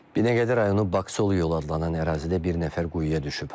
Binəqədi rayonu Baksolu yolu adlanan ərazidə bir nəfər quyuya düşüb.